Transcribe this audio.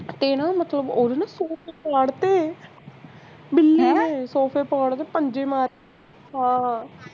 ਤੇ ਨਾ ਮਤਲਬ ਓਹਦੇ ਨਾ ਸੂਟ ਫਾੜ ਤੇ ਬਿੱਲੀ ਨੇ ਸੋਫੇ ਫਾੜ ਤੇ ਪੰਜੇ ਮਾਰ ਕੇ ਹਾਂ